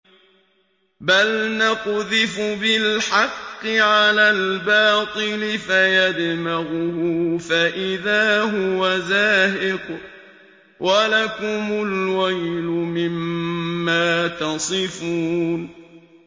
بَلْ نَقْذِفُ بِالْحَقِّ عَلَى الْبَاطِلِ فَيَدْمَغُهُ فَإِذَا هُوَ زَاهِقٌ ۚ وَلَكُمُ الْوَيْلُ مِمَّا تَصِفُونَ